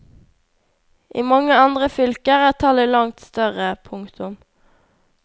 I mange andre fylker er tallet langt større. punktum